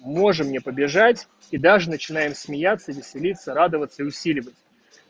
можем не побежать и даже начинает смеяться веселиться радоваться и усиливать